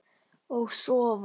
Og sofa.